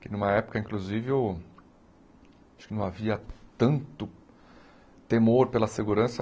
Que, numa época, inclusive, o acho que não havia tanto temor pela segurança.